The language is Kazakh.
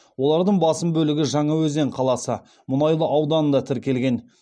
олардың басым бөлігі жаңаөзен қаласы мұнайлы ауданында тіркелген